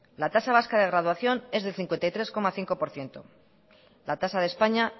la tasa vasca de graduación es del cincuenta y tres coma cinco por ciento y la tasa de españa